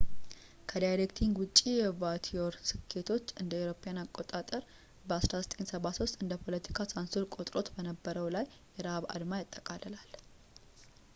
ከዳይሬክቲንግ ውጭ የቮቲየር ስኬቶች እ.ኤ.አ. በ 1973 እንደ ፖለቲካ ሳንሱር ቆጥሮት በነበረው ላይ የረሃብ አድማ ያጠቃልላል